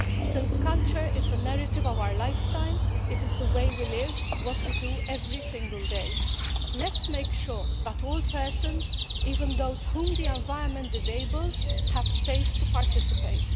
Since culture is the narrative of our lifestyle, the way we live, what we do every single day, let's make sure that all persons, even those whom the environment disables, have space to participate.